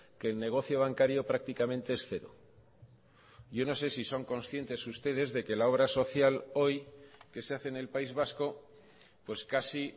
que el negocio bancario prácticamente es cero yo no sé si son conscientes ustedes de que la obra social hoy que se hace en el país vasco pues casi